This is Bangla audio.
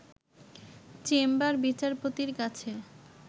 চেম্বার বিচারপতির কাছে